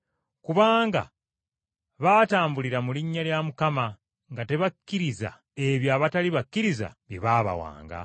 Kubanga baatambulira mu linnya lya Mukama, nga tebakkiriza ebyo abatali bakkiriza bye baabawanga.